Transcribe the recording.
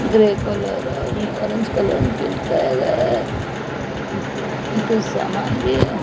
ये कुछ सामान भी है।